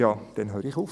Dann höre ich auf.